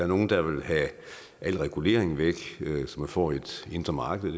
nogle der var have al regulering væk så man får et indre marked